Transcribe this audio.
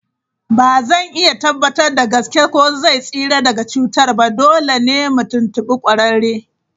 Ba zan iya tabbatar da gaske ko zai tsira daga cutar ba, dole ne mu tuntubi kwararre.